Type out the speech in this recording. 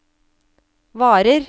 varer